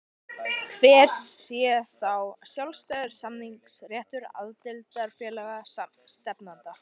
Hver sé þá sjálfstæður samningsréttur aðildarfélaga stefnanda?